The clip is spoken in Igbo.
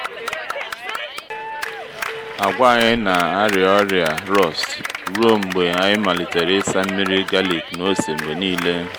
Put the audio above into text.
agwa anyị na ari-ọrịa rọst ruo mgbe anyị malitere ịsa nmiri galik na ose mgbe niile.